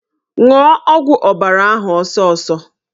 Ṅụọ ọgwụ ọbara ahụ ọsọsọ!